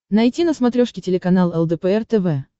найти на смотрешке телеканал лдпр тв